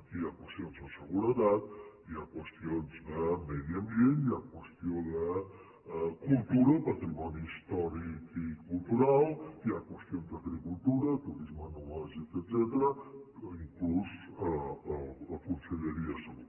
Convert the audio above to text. aquí hi ha qüestions de seguretat hi ha qüestions de medi ambient hi ha qüestions de cultura patrimoni històric i cultural hi ha qüestions d’agricultura turisme enològic etcètera i inclús la conselleria de salut